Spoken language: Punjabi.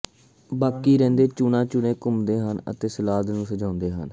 ਬਾਕੀ ਰਹਿੰਦੇ ਚੂਨਾ ਚੂਨੇ ਘੁੰਮਦੇ ਹਨ ਅਤੇ ਸਲਾਦ ਨੂੰ ਸਜਾਉਂਦੇ ਹਨ